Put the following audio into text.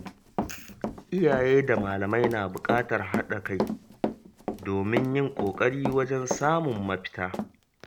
Iyaye da malamai na buƙatar haɗa kai domin yin ƙoƙari wajen samun mafita.